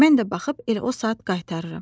Mən də baxıb elə o saat qaytarıram.